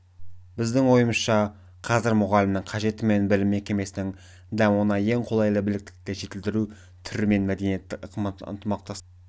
біздің ойымызша қазір мұғалімнің қажеті мен білім мекемесінің дамуына ең қолайлы біліктілікті жетілдіру түрі мәдени ынтымақтастық